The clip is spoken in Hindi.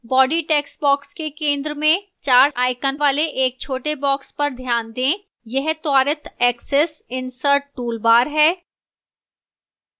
body textbox के centre में 4 icons वाले एक छोटे box पर ध्यान दें यह त्वरित एक्सेस insert toolbar है